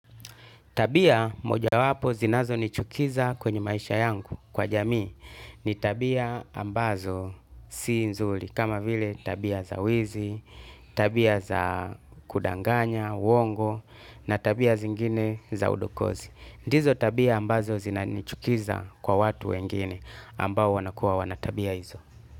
Tabia moja wapo zinazo nichukiza kwenye maisha yangu kwa jamii ni tabia ambazo si nzuri kama vile tabia za wizi, tabia za kudanganya, uongo na tabia zingine za udokozi. Ndizo tabia ambazo zinanichukiza kwa watu wengine ambao wanakua wana tabia hizo.